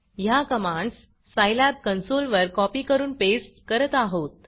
ह्या commands Scilab कन्सोलवर copy करून पेस्ट करत आहोत